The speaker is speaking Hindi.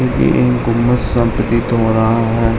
ये एक गुंवद सा प्रतीत हो रहा है।